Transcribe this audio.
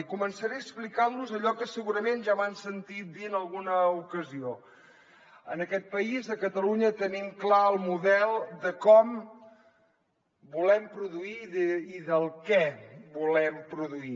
i començaré explicant los allò que segurament ja m’han sentit dir en alguna ocasió en aquest país a catalunya tenim clar el model de com volem produir i del què volem produir